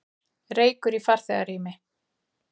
Reykur í farþegarými